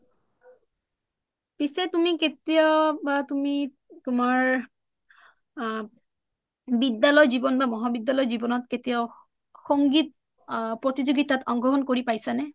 পিছে তুমি কেতিয়াবা তুমি তুমাৰ আ বিদ্যালয় জীৱন বা মহাবিদ্যালয় জীৱনত কেতিয়াও সংগীত প্ৰতিযোগিতাত অংশগ্ৰহণ কৰি পইচা নে?